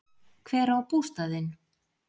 Hver á bústaðinn?